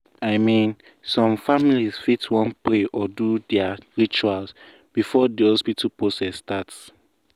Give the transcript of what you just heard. i mean some families fit wan pray or do their rituals before the hospital process start